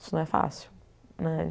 Isso não é fácil, né?